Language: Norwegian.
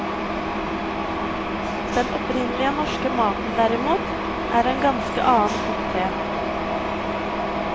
Den opprinnelige norske maten, derimot, er en ganske annen kopp te.